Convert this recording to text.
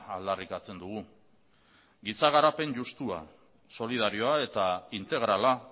aldarrikatzen dugu giza garapen justua solidarioa eta integrala